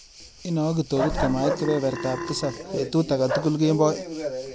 Inanwa awe kitokut komait kebebertap tisap betut akatukul kemboi.